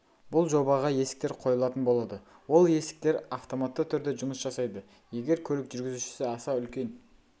бұл жобаға есіктер қойылатын болады ол есіктер автоматты түрде жұмыс жасайды егер көлік жүргізушісі аса үлкен